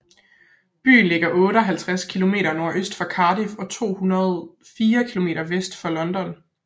Byen ligger 58 km nordøst for Cardiff og 204 km vest for London